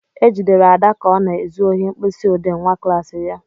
E jidere Ada ka ọ na-ezu ohi mkpịsị ọdee nwa klassị ya.